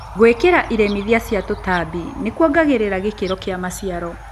Gwĩkĩra iremithia cia tũtambi nĩkuongagĩrĩra gĩkĩro kĩa maciaro.